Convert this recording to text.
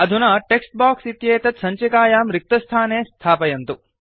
अधुना text box इत्येतत् सञ्चिकायां रिक्तस्थाने स्थापयन्तु